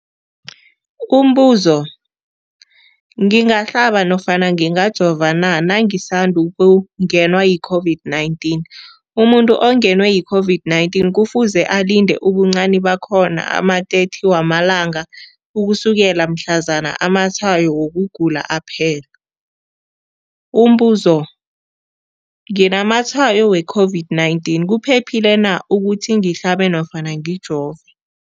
Umbuzo, ngingahlaba nofana ngingajova na nangisandu kungenwa yi-COVID-19? Umuntu ongenwe yi-COVID-19 kufuze alinde ubuncani bakhona ama-30 wama langa ukusukela mhlazana amatshayo wokugula aphela. Umbuzo, nginamatshayo we-COVID-19, kuphephile na ukuthi ngihlabe nofana ngijove?